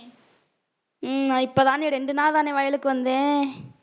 உம் நான் இப்ப தானே ரெண்டு நாள்தானே வயலுக்கு வந்தேன்